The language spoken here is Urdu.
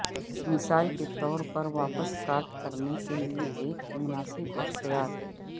مثال کے طور پر واپس کاٹ کرنے کے لئے ایک مناسب اختیار